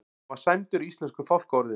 Hann var sæmdur íslensku fálkaorðunni